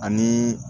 Ani